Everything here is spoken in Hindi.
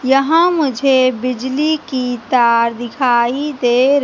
यहां मुझे बिजली की तार दिखाई दे र--